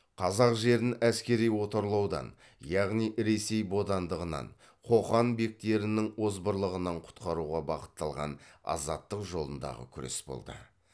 қазақ жерін әскери отарлаудан яғни ресей бодандығынан қоқан бектерінің озбырлығынан құтқаруға бағытталған азаттық жолындағы күрес болды